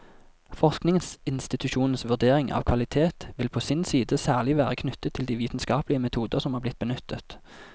Forskningsinstitusjonens vurdering av kvalitet vil på sin side særlig være knyttet til de vitenskapelige metoder som er blitt benyttet.